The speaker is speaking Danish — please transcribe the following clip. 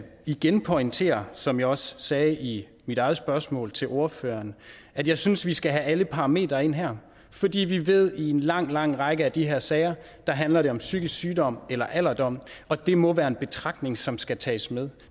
igen pointere som jeg også sagde i mit eget spørgsmål til ordføreren at jeg synes at vi skal have alle parametre ind her fordi vi ved at i en lang lang række af de her sager handler det om psykisk sygdom eller alderdom og det må være en betragtning som skal tages med